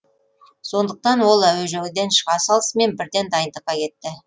сондықтан ол әуежайдан шыға салысымен бірден дайындыққа кетті